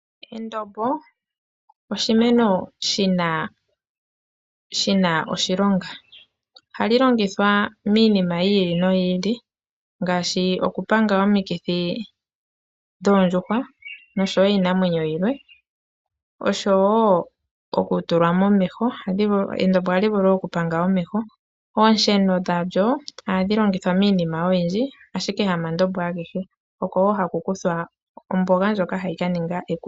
Endombo oshimeno shina oshilonga, ohali longithwa miinima yiili noyili ngaashi okupanga omukithi dhoondjuhwa nosho woo iinamwenyo yimwe osho woo oku tulwa momeho, endombo ohali vulu okupanga omeho. Oosheno dhalyo ohadhi longithwa miinima oyindji ashike hama ndombo agehe.